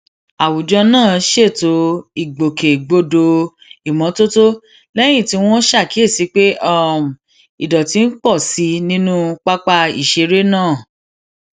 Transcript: àwùjọ náà ṣètò ìgbòkègbodò ìmótótó léyìn tí wón ṣàkíyèsí pé um ìdọtí ń pò sí i nínú pápá ìṣeré náà